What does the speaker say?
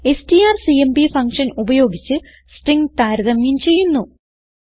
strcmp function ഉപയോഗിച്ച് string താരതമ്യം ചെയ്യുന്നു